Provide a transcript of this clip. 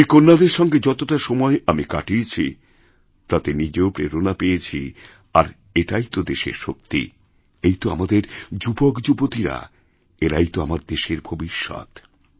ওই কন্যাদের সঙ্গে যতটা সময় আমিকাটিয়েছি তাতে নিজেও প্রেরণা পেয়েছি আর এটাই তো দেশের শক্তি এই তো আমাদেরযুবকযুবতীরা এরাই তো আমার দেশের ভবিষ্যৎ